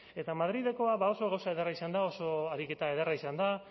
eta madrilekoa oso gauza ederra izan da oso ariketa ederra izan da